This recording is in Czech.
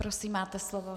Prosím, máte slovo.